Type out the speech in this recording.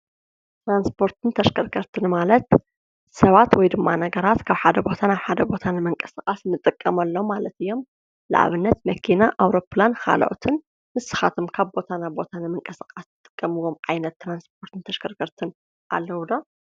ትራንስፖርትን ተሽከርከርትን ማለት ሰባት ወይድማ ነገራት ካብ ሓደ ቦታ ናብ ሓደ ቦታ ንምቅስቃስ እንጥቀመሎም ማለት እዮሞ ንኣብነት መኪና ኣዉሮፕላን። ካልኦትን ንስካትኩም ከ ካብ ቦታ ናብ ቦታ ንምቅስቃስ ትጥቀምዎም ዓይነት ትራንስፖርትን ተሽከርከርትን ኣለዉ ዶ?